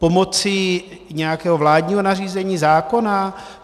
Pomocí nějakého vládního nařízení zákona?